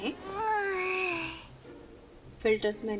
stroke हटायें